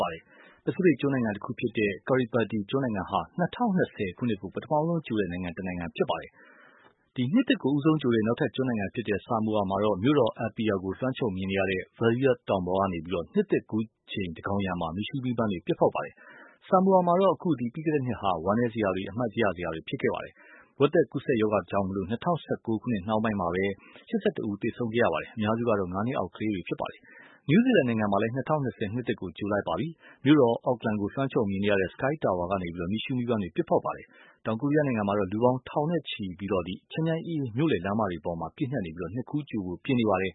ပါ။ ပစိဖိတ်ကျွန်းနိုင်ငံ တခုဖြစ်တဲ့ Kiribati ကျွန်းနိုင်ငံဟာ ၂၀၂၀ ခုနှစ်ကို ပထမဦးဆုံးကြိုတဲ့ နိုင်ငံ တနိုင်ငံ ဖြစ်ပါတယ်။ နှစ်သစ်ကို ဦးဆုံးကြိုတဲ့ နောက်ထပ်ကျွန်းနိုင်ငံဖြစ်တဲ့ Samao မှာတော့ မြို့တော် Apia ကို လွှမ်းခြုံမြင်ရတဲ့ Vaea တောင်ပေါ်ကနေ နှစ်သစ်ကူးချိန်သန်းခေါင်ယံမှာ မီးရှုးမီးပန်းပစ်ဖောက်ပါတယ်။ Samao မှာတော့ အခု ပြီးခဲ့တဲ့နှစ်ဟာ ဝမ်းနည်းစရာ အမှတ်ရစရာတွေ ဖြစ်ခဲ့တာပါ။ ဝက်သက်ကူးစက်ရောဂါကြောင့် ၂၀၁၉ ခုနှစ်ကုန်ပိုင်းမှာပဲ ၈၁ ဦး သေဆုံးခဲ့ရပါတယ်။ အများစုက ငါးနှစ်အောက် ကလေးငယ်တွေပါ။ နယူးဇီလန်နိုင်ငံမှာ ၂၀၂၀ နှစ်သစ်ကို ကြိုလိုက်ပါပြီ။ မြို့တော် Auckland ကို လွှမ်းခြုံမြင်ရတဲ့ Sky Tower ကနေ မီးရှုးမီးပန်းတွေ ပစ်ဖောက်ခဲ့ပါတယ်။ တောင်ကိုရီယားနိုင်ငံမှာတော့ လူပေါင်းထောင်နဲ့ချီ ချမ်းချမ်းအေးအေး မြို့လယ်လမ်းမတွေပေါ်မှာ ပြည့်နှက်နေပြီး နှစ်ကူးကြိုဖို့ ပြင်နေပါတယ်